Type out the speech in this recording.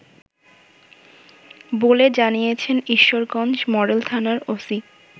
বলে জানিয়েছেন ঈশ্বরগঞ্জ মডেল থানার ওসি